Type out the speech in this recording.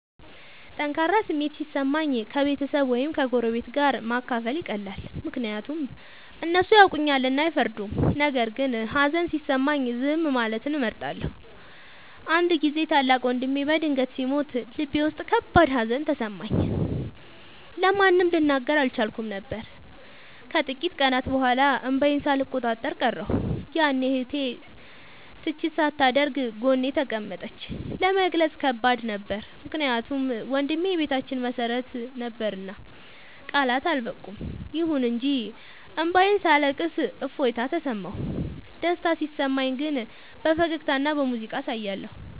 ጠንካራ ስሜት ሲሰማኝ ከቤተሰብ ወይም ከጎረቤት ጋር ማካፈል ይቀላል፤ ምክንያቱም እነሱ ያውቁኛልና አይፈርዱም። ነገር ግን ሀዘን ሲሰማኝ ዝም ማለትን እመርጣለሁ። አንድ ጊዜ ታላቅ ወንድሜ በድንገት ሲሞት ልቤ ውስጥ ከባድ ሀዘን ተሰማኝ፤ ለማንም ልናገር አልቻልኩም ነበር። ከጥቂት ቀናት በኋላ እንባዬን ሳልቆጣጠር ቀረሁ፤ ያኔ እህቴ ትችት ሳታደርግ ጎኔ ተቀመጠች። ለመግለጽ ከባድ ነበር ምክንያቱም ወንድሜ የቤታችን መሰረት ነበርና ቃላት አልበቁም። ይሁን እንጂ እንባዬን ሳለቅስ እፎይታ ተሰማሁ። ደስታ ሲሰማኝ ግን በፈገግታና በሙዚቃ አሳያለሁ።